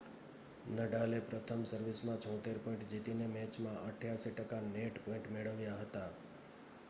નડાલે પ્રથમ સર્વિસમાં 76 પોઇન્ટ જીતીને મેચમાં 88 ટકા નેટ પોઇન્ટ મેળવ્યા હતા